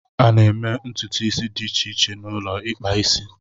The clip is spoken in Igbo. A na-eme ntutu isi dị iche iche na ulo ikpa isi.